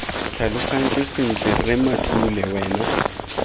tlhalogantse sentle rre mathule wena